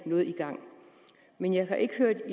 noget i gang men jeg har ikke hørt